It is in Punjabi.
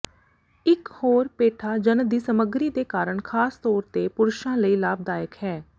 ਇੱਕ ਹੋਰ ਪੇਠਾ ਜੰਨ ਦੀ ਸਮੱਗਰੀ ਦੇ ਕਾਰਨ ਖਾਸ ਤੌਰ ਤੇ ਪੁਰਸ਼ਾਂ ਲਈ ਲਾਭਦਾਇਕ ਹੈ